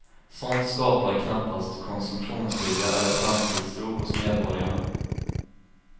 Sånt skapar knappast konsumtionsvilja eller framtidstro hos medborgarna.